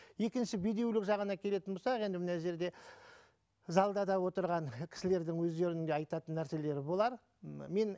екінші бедеулік жағына келетін болсақ енді мына жерде залда да отырған кісілердің өздерінде айтатын нәрселері болар м мен